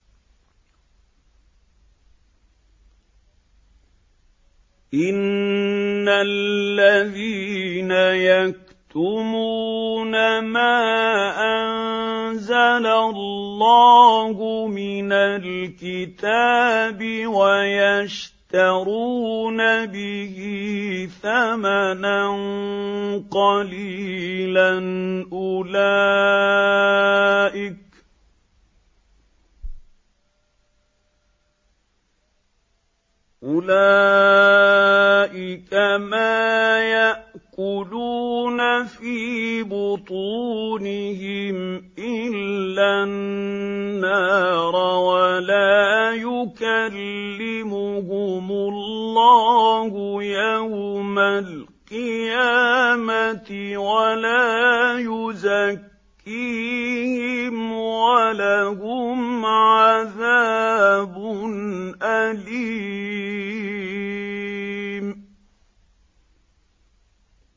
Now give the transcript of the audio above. إِنَّ الَّذِينَ يَكْتُمُونَ مَا أَنزَلَ اللَّهُ مِنَ الْكِتَابِ وَيَشْتَرُونَ بِهِ ثَمَنًا قَلِيلًا ۙ أُولَٰئِكَ مَا يَأْكُلُونَ فِي بُطُونِهِمْ إِلَّا النَّارَ وَلَا يُكَلِّمُهُمُ اللَّهُ يَوْمَ الْقِيَامَةِ وَلَا يُزَكِّيهِمْ وَلَهُمْ عَذَابٌ أَلِيمٌ